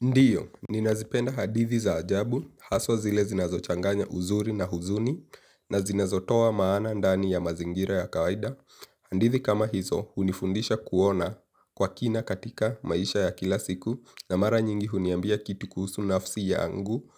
Ndio ninazipenda hadithi za ajabu haswa zile zinazochanganya uzuri na huzuni na zinazotoa maana ndani ya mazingira ya kawaida hadithi kama hizo, hunifundisha kuona kwa kina katika maisha ya kila siku, na mara nyingi huniambia kitu kuhusu nafsi yangu,